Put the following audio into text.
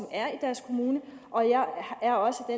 er i deres kommune og jeg er også af